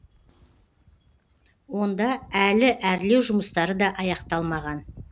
онда әлі әрлеу жұмыстары да аяқталмаған